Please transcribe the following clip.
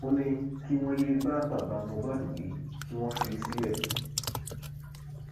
ó ní kí wọn yéé bá bàbá mohbad wí kí wọn fi í sílẹ